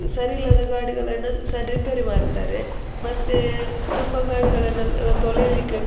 ಸರಿ ಇಲ್ಲದ ಗಾಡಿಗಳನ್ನ ಸರಿ ರಿಪೇರಿ ಮಾಡ್ತಾರೆ ಮತ್ತೆ ತುಂಬ ಗಾಡಿಗಳನ್ನ ತೊಳಿಲಿಕ್ಕೆ --